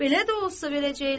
Belə də olsa verəcəklər,